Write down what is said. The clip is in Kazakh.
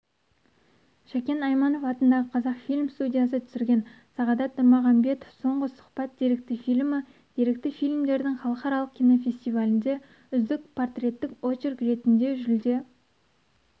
шәкен айманов атындағы қазақфильм студиясы түсірген сағадат нұрмағамбетов соңғы сұхбат деректі фильмі деректі фильмдердің халықаралық кинофестивалінде үздік портреттік очерк ретінде жүлде